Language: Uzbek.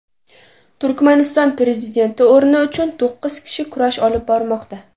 Turkmaniston prezidenti o‘rni uchun to‘qqiz kishi kurash olib bormoqda.